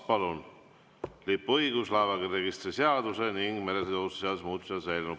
Laeva lipuõiguse ja laevaregistrite seaduse ning meresõiduohutuse seaduse muutmise seaduse eelnõu.